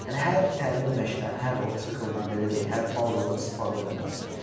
Yəni hər təlim məşqdən, hər o sikldan, belə deyək, hər pauzadan istifadə eləməlisən.